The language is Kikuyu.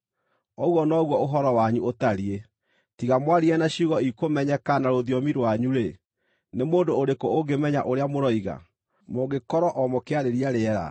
Ũguo noguo ũhoro wanyu ũtariĩ. Tiga mwaririe na ciugo ikũmenyeka na rũthiomi rwanyu-rĩ, nĩ mũndũ ũrĩkũ ũngĩmenya ũrĩa mũroiga? Mũngĩkorwo o mũkĩarĩria rĩera.